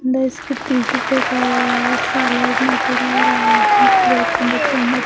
less के tissue लिखा हुआ है ऐसे नजर आ रहा है प्लेट के अंदर चम्मच--